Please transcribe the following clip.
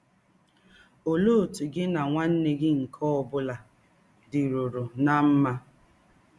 Ọlee ọtụ gị na nwanne gị nke ọ bụla dịrụrụ ná mma?